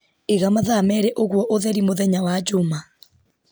iga mathaa merĩ ũguo ũtheri mũthenya wa njuma